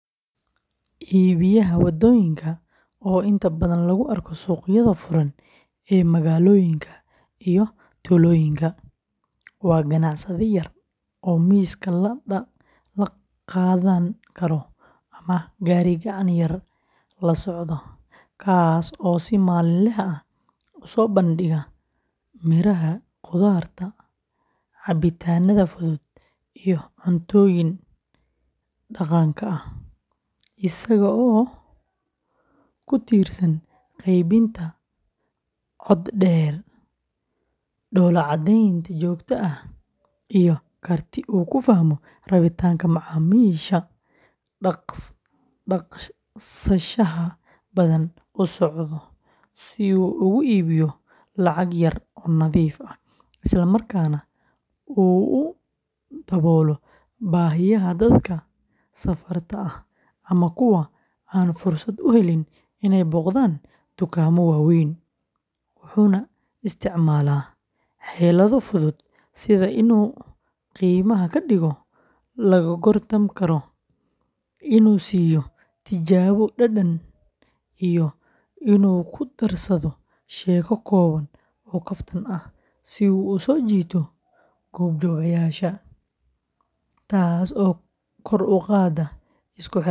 Iibiyaha waddooyinka, oo inta badan lagu arko suuqyada furan ee magaalooyinka iyo tuulooyinka, waa ganacsade yar oo miiska la qaadan karo ama gaari-gacan yar la socda, kaas oo si maalinle ah u soo bandhiga miraha, khudaarta, cabitaannada fudud, iyo cuntooyinka dhaqanka ah, isagoo ku tiirsan qaybinta cod dheer, dhoolla-caddayn joogto ah, iyo karti uu ku fahmo rabitaanka macaamiisha dhaqsaha badan u socda, si uu ugu iibiyo lacag yar oo nadiif ah, isla markaana uu u daboolo baahiyaha dadka safarka ah ama kuwa aan fursad u helin inay booqdaan dukaamo waaweyn, wuxuuna isticmaalaa xeelado fudud sida inuu qiimaha ka dhigo la gorgortan karo, inuu siiyo tijaabo dhadhan, iyo inuu ku darsado sheeko kooban oo kaftan ah si uu u soo jiito goobjoogayaasha, taas oo kor u qaadda isku xirnaanta bulsho.